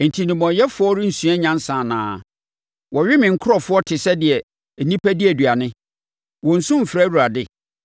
Enti nnebɔneyɛfoɔ rensua nyansa anaa? Wɔwe me nkurɔfoɔ te sɛ deɛ nnipa di aduane. Wɔnnsu mfrɛ Awurade?